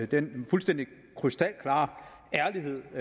den fuldstændig krystalklare ærlighed